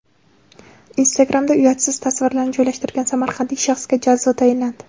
Instagram’da uyatsiz tasvirlarni joylashtirgan samarqandlik shaxsga jazo tayinlandi.